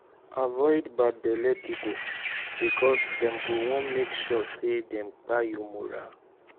avoid bad belle pipo bikos dem go wan mek sure say dem kpai yur moral